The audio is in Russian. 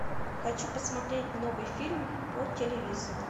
хочу посмотреть новый фильм по телевизору